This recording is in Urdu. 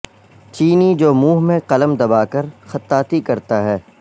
چینی جو منہہ میں قلم دبا کر خطاطی کرتا ہے